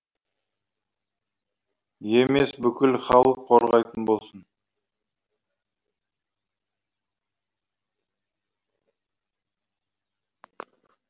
емес бүкіл халық қорғайтын болсын